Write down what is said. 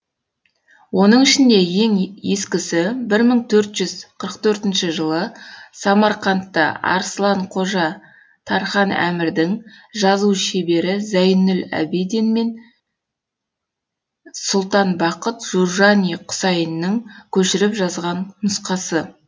оның ішінде ең ескісі бір мың төрт жүзқырық төртінші жылы самарканда арсылан қожа тархан әмірдің жазу шебері зәйнүл әбідін бин сұлтан бақыт журжани құсайынның көшіріп жазған нұсқасы